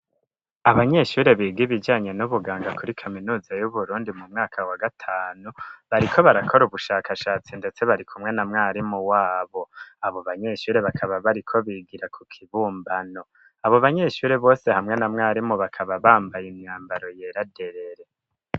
Abanyeshure biga ibijanye n'ubuganga kuri kaminuza yu Burundi mu mwaka wa gatanu bariko barakora ubushakashatsi ndetse bari kumwe na mwarimu wabo abo banyeshure bakaba bariko bigira ku kibumbano abo banyeshuri bose hamwe na mwarimu bakaba bambaye imyambaro yera derere